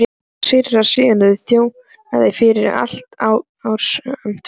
Síra Sigurður þjónaði fyrir altari ásamt föður sínum.